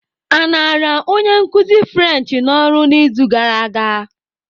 A na-arụ onye nkuzi French n'ọrụ n'izu gara aga?